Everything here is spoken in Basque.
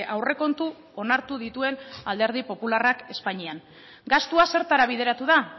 aurrekontu onartu dituen alderdi popularrak espainian gastua zertara bideratu da